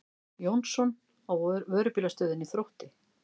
Jónsson á Vörubílastöðinni Þrótti.